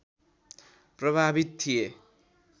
प्रभावित थिए